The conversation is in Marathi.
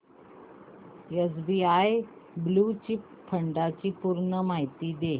एसबीआय ब्ल्यु चिप फंड ची पूर्ण माहिती दे